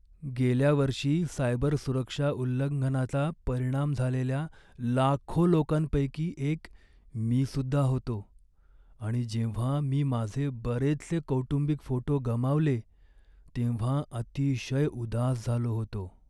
गेल्या वर्षी सायबरसुरक्षा उल्लंघनाचा परिणाम झालेल्या लाखो लोकांपैकी एक मीसुद्धा होतो आणि जेव्हा मी माझे बरेचसे कौटुंबिक फोटो गमावले तेव्हा अतिशय उदास झालो होतो.